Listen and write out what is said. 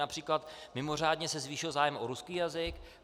Například mimořádně se zvýšil zájem o ruský jazyk.